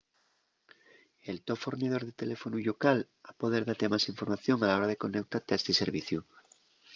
el to fornidor de teléfonu llocal ha poder date más información a la hora de coneutate a esti serviciu